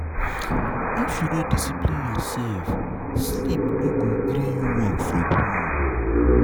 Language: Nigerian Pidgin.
If you no discipline yoursef, sleep no go gree you work from home.